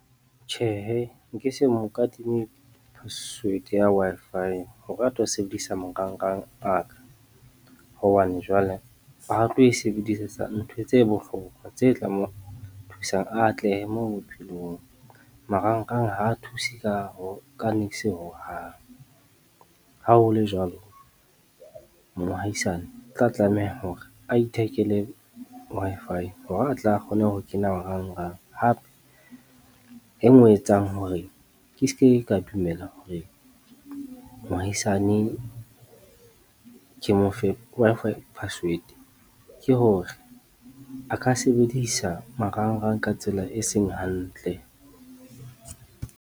Tjhehe nkese mo kadime password ya Wi-Fi hore a tlo ho sebedisa marangrang a ka hobane jwale ha tlo e sebedisetsa ntho tse bohlokwa tse tla mo thusang atlehe moo bophelong, marangrang ha thuse ka niks hohang. Ha ho le jwalo, moahisane o tla tlameha hore a ithekele Wi-Fi hore a tle a kgone ho kena marangrang hape e nngwe e etsang hore ke seke ka dumela hore moahusane ke mo fe Wi-Fi password ke hore a ka sebedisa marangrang ka tsela e seng hantle.